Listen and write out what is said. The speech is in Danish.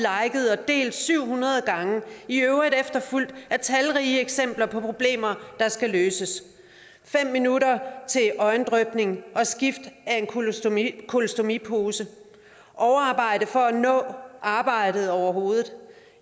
liket og delt syv hundrede gange i øvrigt efterfulgt af talrige eksempler på problemer der skal løses fem minutter til øjendrypning og skift af en kolostomipose kolostomipose overarbejde for at nå arbejdet overhovedet